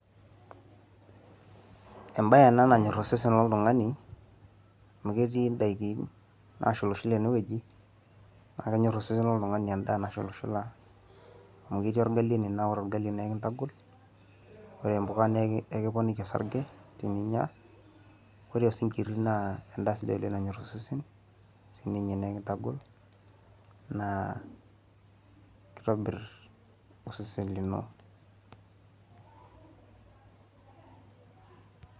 Embaye ena nanyor osesen loltung'ani amu ketii indaikin naashulashula ene wueji naa kenyor osesen loltung'ani endaa nashula shula amu. Ketii orgali ene naa ore orgali naa ekitagol ore impuka naa ekiponiki orsarge teninyia ore osinkiri naa endaa nanyor osesen ore sii ninye naa ekintagol naa keitobir osesen lino .